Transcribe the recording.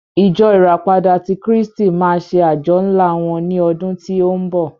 Ìjọ ìràpadà tí kristi máa ṣe àjọ ńlá wọ́n ní ọdún tí ó ń bọ̀.